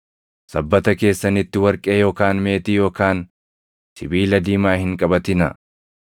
“Sabbata keessanitti warqee yookaan meetii yookaan sibiila diimaa hin qabatinaa;